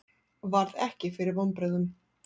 Varð ekki fyrir vonbrigðum